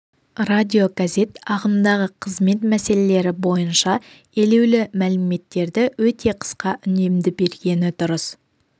радиогазет ағымдағы қызмет мәселелері бойынша елеулі мәліметтерді өте қысқа үнемді бергені дұрыс